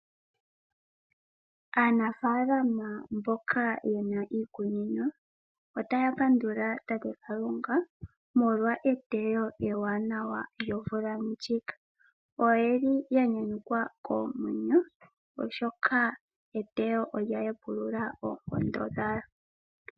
Aanafaalama mboka ye na iikunino otaya pandula tate Kalunga molwa eteyo ewanawa lyomvula ndjika. Oya nyanyukwa koomwenyo, oshoka eteyo olya hepulula oonkondo dhawo.